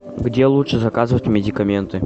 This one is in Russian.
где лучше заказывать медикаменты